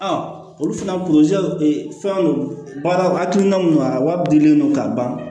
olu fana fɛn don baara o hakilina mun don a wari bilennen don ka ban